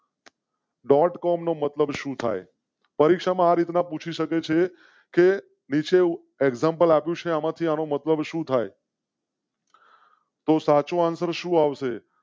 Dot com નો મતલબ શું થાય? પરીક્ષા માં રીત ના પૂછી શકે છે કે નીચે એકઝંપલાવ્યું શ્યામ. આથી આનો મતલબ શું થાય? તો સાચો આન્સર શું આવશે?